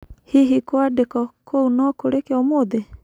Hihi, kwandiko kũu no kũrike ũmũthĩ?